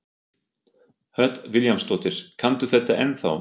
Hödd Vilhjálmsdóttir: Kanntu þetta ennþá?